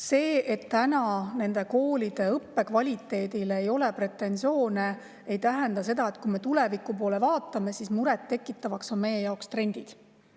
See, et täna nende koolide õppe kvaliteedile ei ole pretensioone, ei tähenda seda, et kui me tuleviku poole vaatame, siis trendid meie jaoks muret tekitavad.